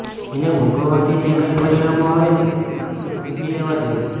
એને ભોગવવાથી જે કંઈ પરિણામો આવે છે તે આપણે સમજી લેવાં જોઈએ